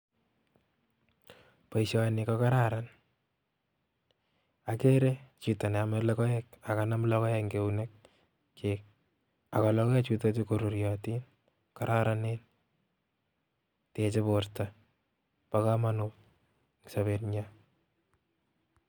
Boisioni kokararan agere chito neome logoekak kanam logoek eng keunekyik akologoechutokchu koruriotin kororonen teche borto bo komonut eng sobetnyo.